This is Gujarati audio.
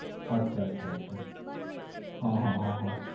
અચ્છા અચ્છા અચ્છા અચ્છા હા હા હા હા